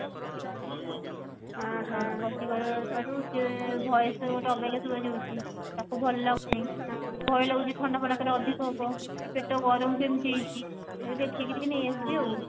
ତଣ୍ଟି ବସିବାରୁ ସିଏ voice ଟା ଗୋଟେ ଅବାଗିଆ ଶୁଭା ଯାଉଛି ତାକୁ ଭଲ ଲାଗୁନି ଭୟ ଲାଗୁଛି ଥଣ୍ଡା ଫଣ୍ଡା କାଳେ ଅଧିକ ହେବ କି ପେଟ ଗରମ ରୁ ଏମତି ହେଇଛି ତାକୁ ଦେଖେଇ କି ଟିକେ ନେଇ ଆସିବି ଆଉ